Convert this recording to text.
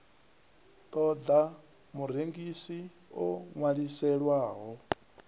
ṱo ḓa murengisi o ṅwaliselwaho